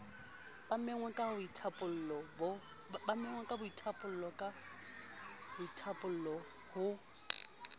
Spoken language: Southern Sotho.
ba menngweng ka boithaopo ho